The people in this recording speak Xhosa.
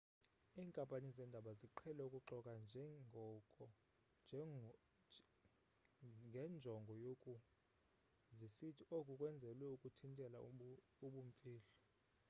iinkampani zeendaba ziqhele ukuxoka ngenjongo yoku zisithi oku kwenzelwe ukuthintela ubumfihlo